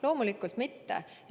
Loomulikult mitte!